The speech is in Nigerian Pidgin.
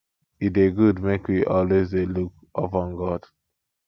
e dey good make we always dey look up on god